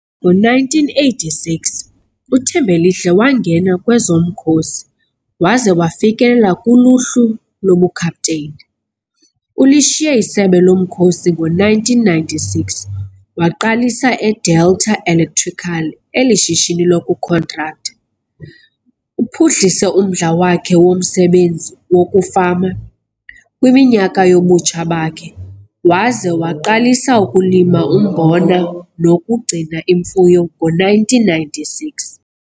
Ngo-1986 uThembelihle wangena kwezomkhosi waze wafikelela kuluhlu lobukapteyini. Ulishiye isebe lezomkhosi ngo-1996 waqalisa eDelta Electrical elishishini lokukhontraktha. Uphuhlise umdla wakhe womsebenzi wokufama kwiminyaka yobutsha bakhe waze waqalisa ukulima umbona nokugcina imfuyo ngo-1996.